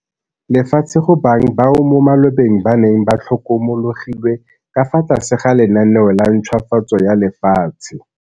Lefatshe go bang bao mo malobeng ba neng ba tlhokomologilwe ka fa tlase ga lenaneo la ntšhwafatso ya lefatshe.